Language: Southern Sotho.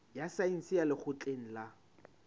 ya saense ya lekgotleng la